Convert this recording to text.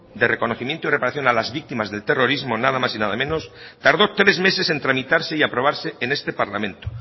de reconocimiento y reparación a las víctimas del terrorismo nada más y nada menos tardó tres meses en tramitarse y aprobarse en este parlamento